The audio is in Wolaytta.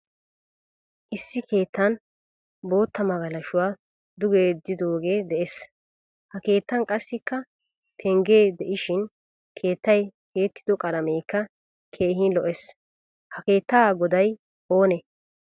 Issi keettan boottaa magalashuwaa duge yeddidoge de'ees. Ha keettan qassikka pengge deishin keettay tiyettido qalamekka keehin lo'ees. Ha keetta goday oone?